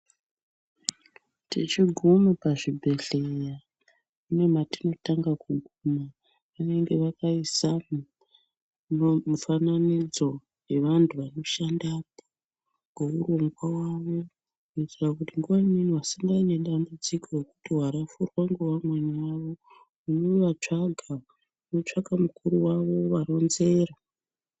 Tichigume pazvibhedhleya kune matinotanga kuguma. Vanenge vakaisamo mufananidzo yevantu vanoshandapo ngeurongwa wavo. Kuitira kuti nguwa imweni wasangana nedambudziko rekuti warafurwa ngevamweni vavo, wovatsvaga. Wotsvaka mukuru wavo wovaronzera.